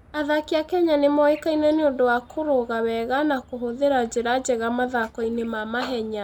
Athaki a Kenya nĩ moĩkaine nĩ ũndũ wa kũrũga wega na kũhũthĩra njĩra njega mathako-inĩ ma mahenya.